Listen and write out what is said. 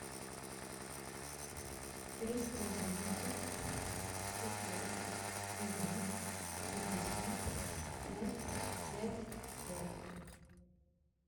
триста одиннадцать сто сорок один пятьдесят пять пять пять